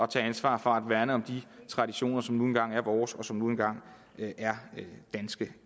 tage ansvar for at værne om de traditioner som nu engang er vores og som nu engang er danske